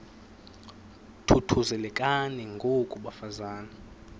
thuthuzelekani ngoko bafazana